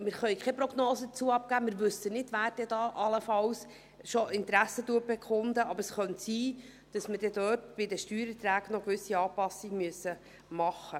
Wir können keine Prognose dazu abgeben, wir wissen nicht, wer allenfalls schon Interesse bekundet, doch es könnte sein, dass wir bei den Steuererträgen noch gewisse Anpassungen vornehmen müssen.